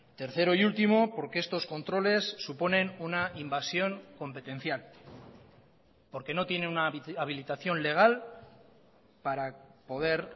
tercero y último porque estos controles suponen una invasión competencial porque no tiene una habilitación legal para poder